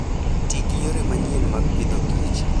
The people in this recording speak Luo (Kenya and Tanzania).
Ti gi yore manyien mag Agriculture and Food.